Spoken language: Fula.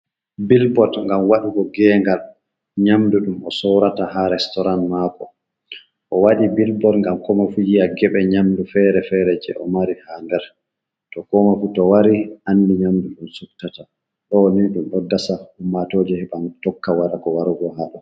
Bilbot gam waɗugo gegal nyamdu ɗum o sorata ha restoran mako, o waɗi bilbot gam komo fu jiya geɓe nyamdu fere-fere je o mari ha nder to komoifu to wari andi nyamdu ɗum sufttata ɗo ni ɗum ɗo dasa ummatojo heban tokka wada ko warugo haɗo.